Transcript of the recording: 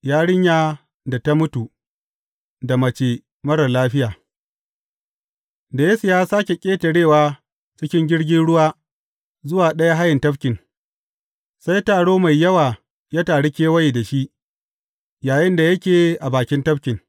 Yarinya da ta mutu da mace marar lafiya Da Yesu ya sāke ƙetarewa cikin jirgin ruwa zuwa ɗaya hayen tafkin, sai taro mai yawa ya taru kewaye da shi yayinda yake a bakin tafkin.